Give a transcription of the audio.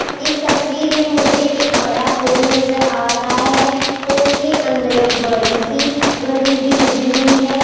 इस तस्वीर में मुझे एक बड़ा हॉल नजर आ रहा है हॉल के अंदर एक बड़ी सी घड़ी भी लगी हुई है।